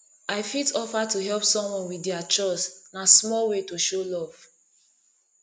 i fit offer to help someone with dia chores na small way to show love